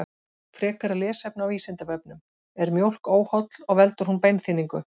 Frekara lesefni á Vísindavefnum: Er mjólk óholl og veldur hún beinþynningu?